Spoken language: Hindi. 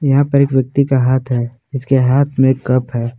यहां पर एक व्यक्ति का हाथ है जिसके हाथ में कप है।